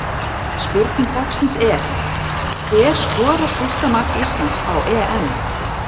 Spurning dagsins er: Hver skorar fyrsta mark Íslands á EM?